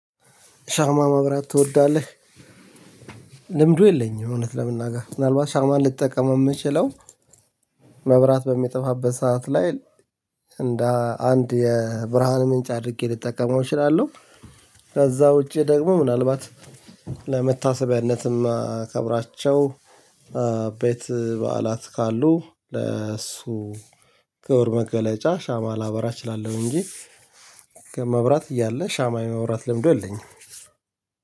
ሻማ ማብራት ትወዳለህ? ልምዱ የለኝም፣ እውነት ለመናገር። ምናልባት ሻማን ልጠቀመው የምችለው መብራት በምጠፋበት ሰዓት ላይ፣ እንደ አንድ የብርሃን ምንጭ አድርጌ ልጠቀመው እችላለሁ። ከዛ ውጪ ደግሞ፣ ምናልባት ለመታሰቢያነትም ከብራቸው ኤ ቤት በዓላት ካሉ፣ ለእሱ ክብር መገለጫ ሻማ ላበራ እችላለሁ እንጂ ከመብራት እያለ፣ ሻማ የማብራት ልምዱ የለኝም።